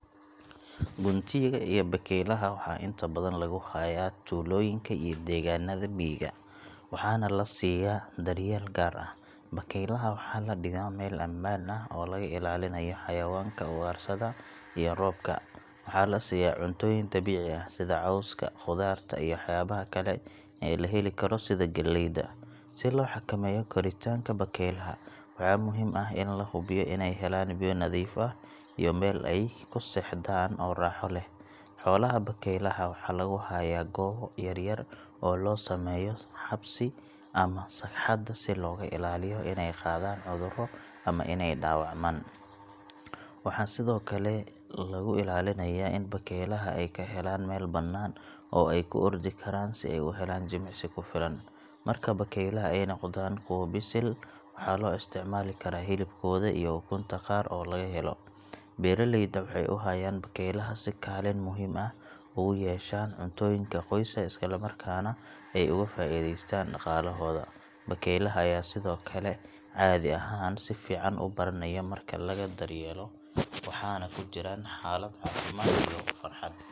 Guntiga iyo bakaylaha waxaa inta badan lagu hayaa tuulooyinka iyo deegaanada miyiga, waxaana la siiya daryeel gaar ah. Bakaylaha waxaa la dhigaa meel ammaan ah oo laga ilaalinayo xayawaanka ugaarsada iyo roobka. Waxaa la siiya cuntooyin dabiici ah sida cawska, qudaarta iyo waxyaabaha kale ee la heli karo sida galleyda. Si loo xakameeyo koritaanka bakaylaha, waxaa muhiim ah in la hubiyo inay helaan biyo nadiif ah iyo meel ay ku seexdaan oo raaxo leh. Xoolaha bakaylaha waxaa lagu hayaa goobaha yar yar oo loo sameeyo xabsi ama sagxadda si looga ilaaliyo inay qaadaan cudurro ama inay dhaawacmaan. Waxaa sidoo kale lagu ilaalinayaa in bakaylaha ay ka helaan meel bannaan oo ay ku ordi karaan si ay u helaan jimicsi ku filan. Marka bakaylaha ay noqdaan kuwo bisil, waxaa loo isticmaali karaa hilibkooda iyo ukunta qaar oo laga helo. Beeraleyda waxay u hayaan bakaylaha si kaalin muhiim ah ugu yeeshaan cuntooyinka qoyska, isla markaana ay uga faa'iidaystaan dhaqaalahooda. Bakaylaha ayaa sidoo kale caadi ahaan si fiican u baranaya marka laga daryeelo, waxaana ku jiraan xaalad caafimaad iyo farxad.